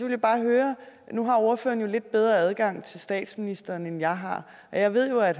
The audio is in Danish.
jeg bare høre nu har ordføreren lidt bedre adgang til statsministeren end jeg har og jeg ved jo at